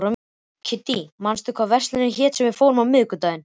Kiddý, manstu hvað verslunin hét sem við fórum í á miðvikudaginn?